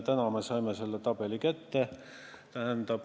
Täna me saime selle kätte.